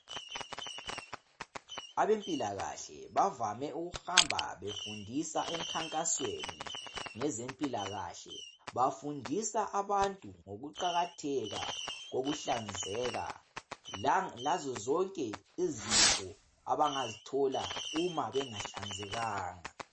Abempilakahle bavame ukuhamba befundisa emkhankasweni ngezempilakahle bafundisa abantu ngokuqakatheka kokuhlanzeka lazo zonke izifo abangazithola uma bengahlanzekanga.